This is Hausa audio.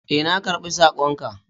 Ee, na karɓi sakon ka.